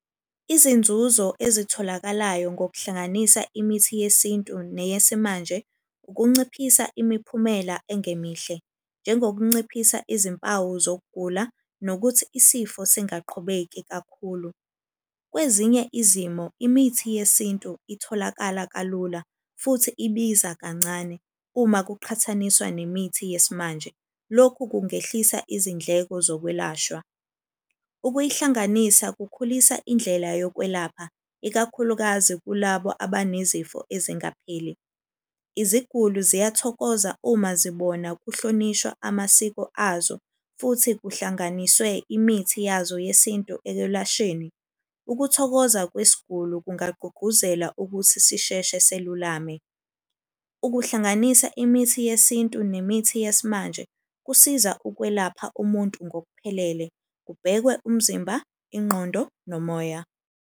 Izinzuzo ezitholakalayo ngokuhlanganisa imithi yesintu neyesimanje ukunciphisa imiphumela engemihle. Njengokunciphisa izimpawu zokugula, nokuthi isifo singaqhubeki kakhulu. Kwezinye izimo, imithi yesintu itholakala kalula futhi ibiza kancane uma kuqhathaniswa nemithi yesimanje. Lokhu kungehlisa izindleko zokwelashwa. Ukuyihlanganisa kukhulisa indlela yokwelapha ikakhulukazi kulabo abanezifo ezingapheli. Iziguli ziyathokoza uma zibona kuhlonishwa amasiko azo, futhi kuhlanganiswe imithi yazo yesintu ekwelashweni. Ukuthokoza kwesiguli kungagqugquzela ukuthi sisheshe selulame. Ukuhlanganisa imithi yesintu nemithi yesimanje kusiza ukwelapha umuntu ngokuphelele, kubhekwe umzimba, ingqondo, nomoya.